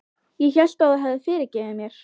Ég hélt að þú hefðir fyrirgefið mér.